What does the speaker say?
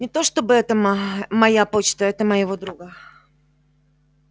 не то чтобы это моя почта это моего друга